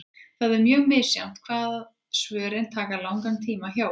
Það er mjög misjafnt hvað svörin taka langan tíma hjá okkur.